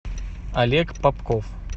олег попков